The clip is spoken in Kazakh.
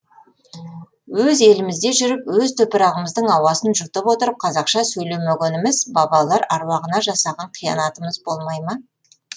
өз елімізде жүріп өз топырағымыздың ауасын жұтып отырып қазақша сөйлемегеніміз бабалар әруағына жасаған қиянатымыз болмай ма